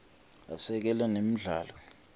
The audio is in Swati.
asekela nemidlalo